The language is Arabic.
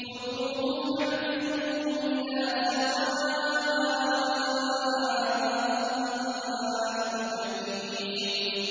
خُذُوهُ فَاعْتِلُوهُ إِلَىٰ سَوَاءِ الْجَحِيمِ